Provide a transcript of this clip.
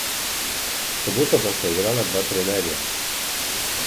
V soboto pa sta igrala dva trenerja.